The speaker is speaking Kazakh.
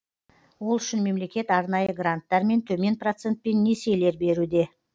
ол үшін мемлекет арнайы гранттар мен төмен процентпен несиелер беруде